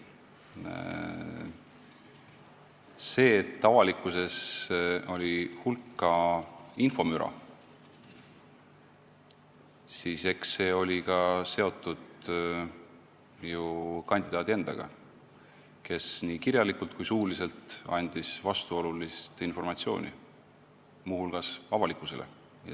Eks see, et avalikkuses oli hulk infomüra, oli seotud ka kandidaadi endaga, kes nii kirjalikult kui ka suuliselt andis vastuolulist informatsiooni, muu hulgas avalikkusele.